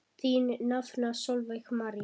Þín nafna Sólveig María.